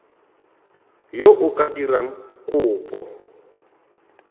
yo o ka dirang kopo